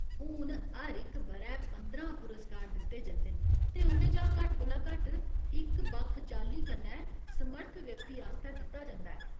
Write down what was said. हून, हर इक ब'रै पंदरां पुरस्कार दित्ते जंदे न, ते उं'दे चा घट्ट कोला घट्ट इक बक्ख चाल्ली कन्नै समर्थ व्यक्ति आस्तै दित्ता जंदा ऐ।